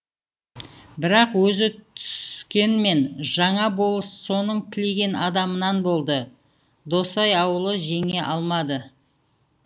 бірақ өзі түскенмен жаңа болыс соның тілеген адамынан болды досай аулы жеңе алмады